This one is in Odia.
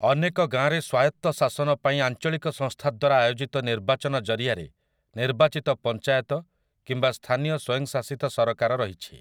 ଅନେକ ଗାଁରେ ସ୍ୱାୟତ୍ତଶାସନ ପାଇଁ ଆଞ୍ଚଳିକ ସଂସ୍ଥା ଦ୍ୱାରା ଆୟୋଜିତ ନିର୍ବାଚନ ଜରିଆରେ ନିର୍ବାଚିତ ପଞ୍ଚାୟତ କିମ୍ବା ସ୍ଥାନୀୟ ସ୍ୱୟଂ ଶାସିତ ସରକାର ରହିଛି ।